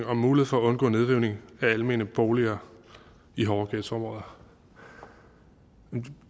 om mulighed for at undgå nedrivning af almene boliger i hårde ghettoområder